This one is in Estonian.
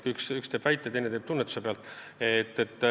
Üks kui teine väidab midagi tunnetuse põhjal.